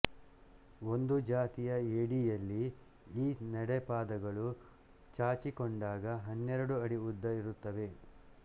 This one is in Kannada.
ಒಂದು ಜಾತಿಯ ಏಡಿಯಲ್ಲಿ ಈ ನಡೆಪಾದಗಳು ಚಾಚಿಕೊಂಡಾಗ ಹನ್ನೆರಡು ಅಡಿ ಉದ್ದ ಇರುತ್ತವೆ